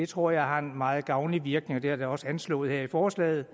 tror jeg har en meget gavnlig virkning det er da også anslået her i forslaget